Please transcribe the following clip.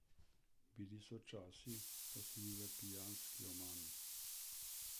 Bili so časi, ko sem bil v pijanski omami.